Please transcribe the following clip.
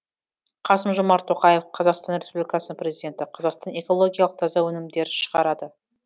қасым жомарт тоқаев қазақстан республикасының президенті қазақстан экологиялық таза өнімдер шығарады